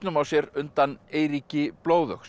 sér undan Eiríki